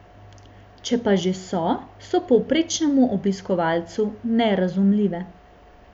Če pa že so, so povprečnemu obiskovalcu nerazumljive.